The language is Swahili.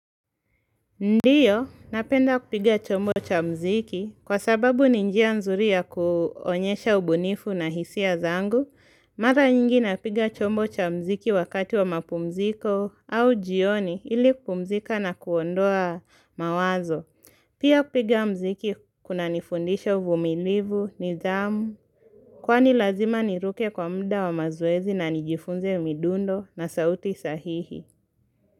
Ndiyo, napenda kupiga chombo cha mziki. Kwa sababu ni njia nzuri ya kuonyesha ubunifu na hisia zangu, mara nyingi napiga chombo cha mziki wakati wa mapumziko au jioni ili kupumzika na kuondoa mawazo. Pia kupiga mziki kunanifundisha uvumilivu, nidhamu, kwani lazima niruke kwa muda wa mazoezi na nijifunze midundo na sauti sahihi.